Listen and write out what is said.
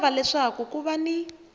lava leswaku ku va ni